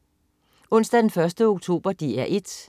Onsdag den 1. oktober - DR 1: